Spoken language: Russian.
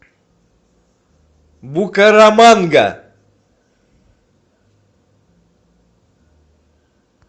букараманга